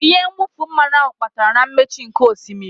Ihe mwụfu mmanụ ahụ kpatara na mmechi nkè osimiri.